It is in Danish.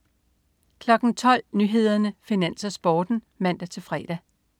12.00 Nyhederne, Finans, Sporten (man-fre)